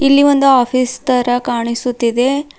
ಇಲ್ಲಿ ಒಂದು ಆಫೀಸ್ ತರ ಕಾಣಿಸುತಿದೆ.